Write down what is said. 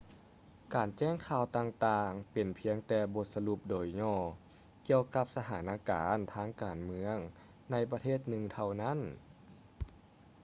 ການແຈ້ງຂ່າວຕ່າງໆ ເປັນພຽງແຕ່ບົດສະຫຼຸບໂດຍຫຍໍ້ ກ່ຽວກັບສະຖານະການທາງການເມືອງ ໃນປະເທດໜຶ່ງເທົ່ານັ້ນ